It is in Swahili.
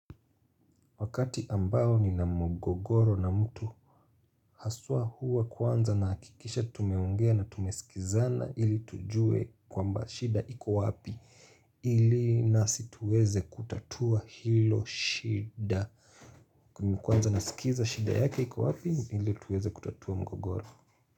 Wakati ambao ni na mgogoro na mtu Haswa huwa kwanza nahakikisha tumeongea na tumesikizana ili tujue kwamba shida iko wapi ili nasi tuweze kutatua hilo shida kwanza nasikiza shida yake iko wapi ili tuweze kutatua mgogoro.